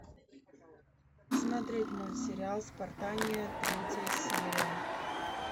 смотреть мультсериал спортания третья серия